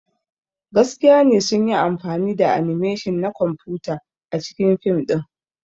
Gaskiya ne sun yi amfani da animation na kwamfuta a cikin fim ɗin.